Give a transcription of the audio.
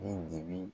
Ni dibi